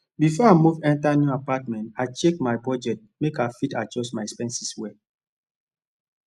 before i move enter new apartment i check my budget make i fit adjust my expenses well